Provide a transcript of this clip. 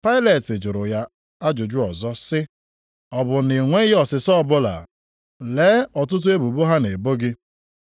Pailet jụrụ ya ajụjụ ọzọ sị, “Ọ bụ na ị nweghị ọsịsa ọbụla? Lee ọtụtụ ebubo ha na-ebo gị.”